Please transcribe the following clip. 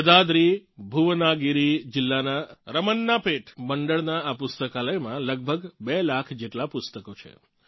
યદાદ્રીભુવનાગિરી જીલ્લાનાં રમન્નાપેટ મંડળનાં આ પુસ્તકાલયમાં લગભગ બે લાખ જેટલાં પુસ્તકો છે